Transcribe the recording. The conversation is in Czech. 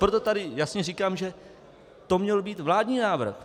Proto tady jasně říkám, že to měl být vládní návrh.